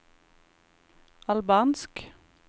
albansk